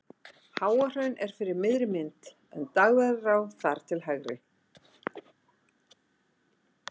Háahraun er fyrir miðri mynd en Dagverðará þar til hægri.